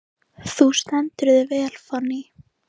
Þú stendur þig vel, Fanný!